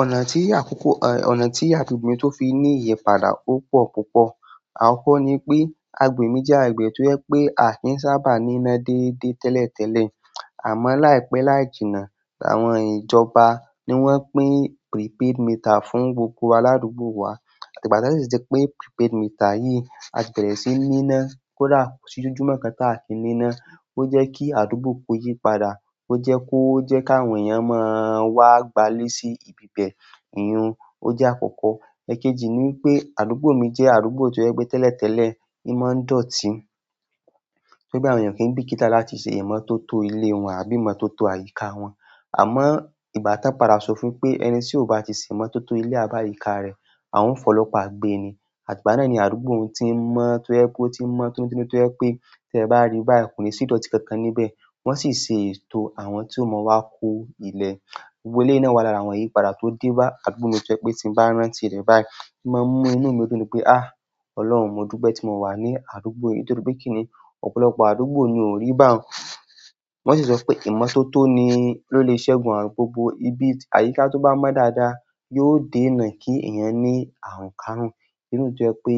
Ọ̀nà tí àkókò, ọ̀nà tí agbègbè tó fi ní ìyípadà ó pọ̀ púpọ̀. Akoko ni pé agbègbè mi jẹ́ agbègbè tó ẹ pé àfi sábà ní iná dédé tẹ́lẹ̀tẹ́lẹ̀. Àmọ́ láìpẹ́ láì jìnnà, àwọn ìjọba ni wọ́n pín prepaid meter fún gbogbo aládùúgbò wa àti gbà ti wọn de sì jẹ́ pé prepaid meter yìí á bẹ̀rẹ̀ sí ní iná kó dà ko sí ojúmọ́ kan ta á fi ní iná. Lọ jẹ kí àdúgbò kò yí padà ọ jẹ kó ọ jẹ ka àwọn ènìyàn wà má gba ilẹ sí bí bẹ iyùn ọ jẹ akọkọ. Ẹ̀kéjì ni pé àdúgbò mi jẹ́ àdúgbò tó jẹ pétẹ́lẹ̀tẹ́lẹ̀, imọ̀ ń dọ̀ọ́ tì í. Pe bí àwọn èèyàn kì n bíkítá láti ṣe ìmọ́tótó ilé wọn àbí ìmọ́tótó àyíká wọn. Àmọ́ ìbátápara sọ fún pé ẹni tí ò bá ti ṣe ìmọ́tótó ilé rẹ̀ àbí àyíká rẹ̀, àwọn òǹfọ̀lọ́pà gbé ni. Àti igbá náà ni àdúgbò òun ti ń mọ́ tó jépé ó ti ń mọ́ tótónitó ẹ pé tí ẹ bá rí báyìí kò ní sí ìdọ́tì kankan níbẹ̀. Wọ́n sì ṣe ètò àwọn tí ó mọ wá kó ilé. Àwọn e a lé iná wa lára àwọn ìyípadà tó dé bá àdúgbò mi tó ẹ pé tí bá rán ti rẹ̀ báyìí, màá mú inú mi dún pé "àh! Ọlọ́run, mo dúpẹ́ tí mo wà ní àdúgbò yìí nítorí pé kí ni ọ̀pọ̀lọpọ̀ àdúgbò ni ò rí báwọn." Wọ́n sì sọ pé ìmọ́tótó ni ló lè ṣẹ́gun àrun gbogbo ibi àyíká tó bá mọ́ dáadáa, yóò dènà kí ẹ̀yàn ní àruǹkarún. Inú dùn tó jẹ ẹ pé,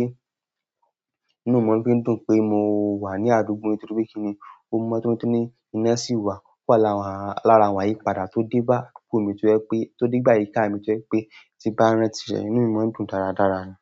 inú mi máa ń dún pé mo wà ní àdúgbò yìí nítorí pé kí ni ó mú mọ́tótó ní iná sí i wá. Ó wà lára àwọn ìyípadà tó dé bá àdúgbò mi tó ẹ pé, tó dé bá àyíká mi tó ẹ pé tí bá rán ti rẹ̀, inú mi máa ń dùn dáradára ni.